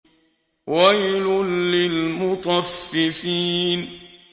وَيْلٌ لِّلْمُطَفِّفِينَ